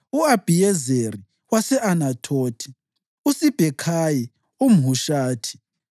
u-Abhiyezeri wase-Anathothi, uSibhekhayi umHushathi,